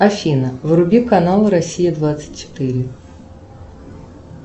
афина вруби канал россия двадцать четыре